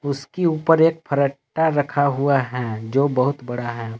उसकी ऊपर एक फरट्टा रखा गया है जो बहुत बड़ा है।